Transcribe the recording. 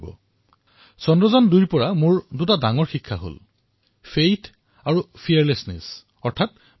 কিন্তু আপোনালোকে যদি মোক সোধে যে চন্দ্ৰায়ন ২ৰ পৰা মই কোন দুটা ডাঙৰ শিক্ষা পালো তাৰ উত্তৰত মই কম বিশ্বাস আৰু নিৰ্ভীকতা